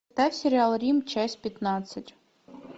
ставь сериал рим часть пятнадцать